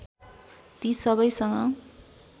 ती सबैसँग